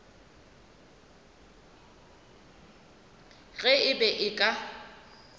ge e be e ka